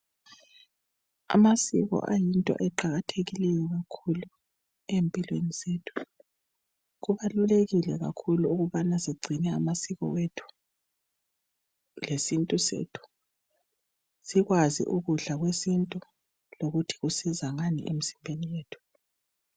Amasiko ayinto eqakathekileyo kakhulu empilweni zethu kubalulekile kakhulu ukubana sigcine amasiko ethu lesintu sethu sikwazi ukudla kwesintu lokuthi kusiza ngani emzimbeni yethu.